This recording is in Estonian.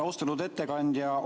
Austatud ettekandja!